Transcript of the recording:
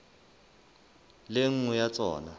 le e nngwe ya tsona